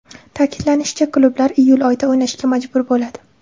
Ta’kidlanishicha, klublar iyul oyida o‘ynashga majbur bo‘ladi.